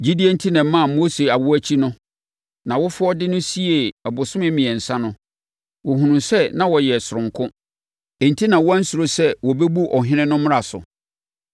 Gyidie enti na ɛmaa Mose awoɔ akyi no, nʼawofoɔ de no siee abosome mmiɛnsa no. Wɔhunuu sɛ na ɔyɛ sononko, enti na wɔansuro sɛ wɔbɛbu ɔhene no mmara so.